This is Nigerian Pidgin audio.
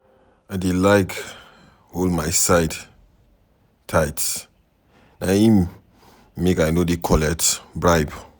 I dey like hol my side tight, na im make I no dey collect bribe.